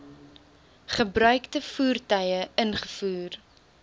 gebruikte voertuie ingevoer